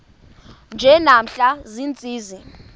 nje namhla ziintsizi